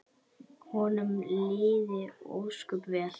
Honum liði ósköp vel.